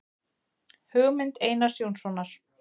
Hugmynd Einars Jónssonar.